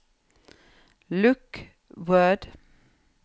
lukk Word